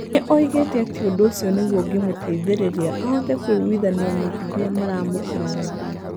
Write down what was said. Nĩ oigĩte atĩ ũndũ ũcio nĩguo ũngĩmũteithĩrĩria ahote kũiguithania na arĩa maramũkararagia.